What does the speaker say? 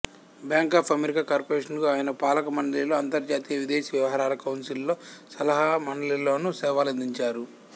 bank of America corporation కు ఆయన పాలకమండలిలో అంతార్జాతీయ విదేశీ వ్యవహారాల కౌన్సిల్ లో సలహా మండలిలోను సేవలందించారు